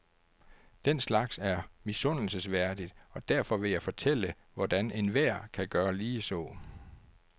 Den slags er misundelsesværdigt, og derfor vil jeg fortælle, hvordan enhver kan gøre ligeså.